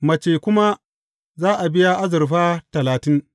Mace kuma za a biya azurfa talatin.